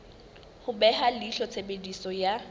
ho beha leihlo tshebediso ya